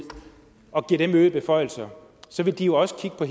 og giver dem øgede beføjelser vil de jo også kigge på